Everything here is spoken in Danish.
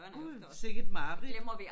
Gud sikke et mareridt